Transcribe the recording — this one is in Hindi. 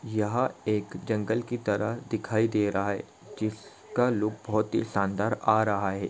यह एक जंगल की तरह दिखाई दे रहा है जिसका लुक बहुत ही शानदार आ रहा है।